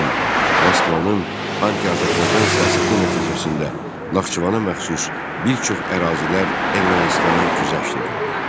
Lakin Moskvanın anti-Azərbaycan siyasəti nəticəsində Naxçıvana məxsus bir çox ərazilər Ermənistana güzəşt edildi.